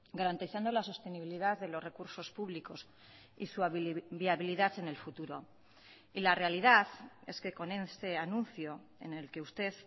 garantizando la sostenibilidad de los recursos públicos y su viabilidad en el futuro y la realidad es que con este anuncio en el que usted